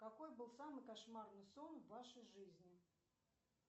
какой был самый кошмарный сон в вашей жизни